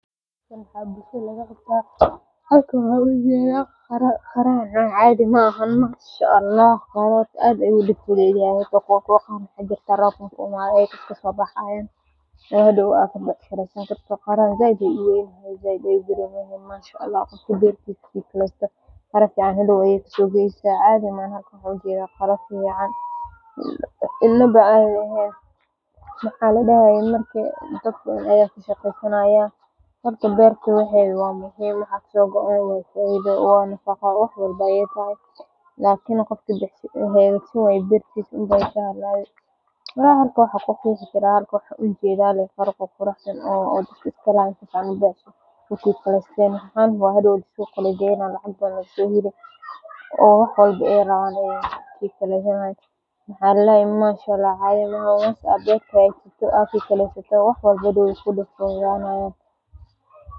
Shirarka noocan ah waxaa lagu qaban karaa sababo badan sida la-tashi shaqo, qorsheynta mashruuc, xalinta khilaaf, ama bixinta warbixin rasmi ah. Shirka xafiiska gudihiisa wuxuu bixiyaa fursad ay dadka si fool-ka-fool ah ugu kulmaan, taasoo kor u qaadda fahamka, wada shaqeynta iyo xiriirka shaqo. Intaa waxaa dheer, shirarka xafiisyada waxay siiyaan dadka fursad ay fikradooda si toos ah u cabbiraan, su'aalo weydiiyaan, ugana wada xaajoodaan go’aannada muhiimka ah. Inkasta oo teknoolajiyada.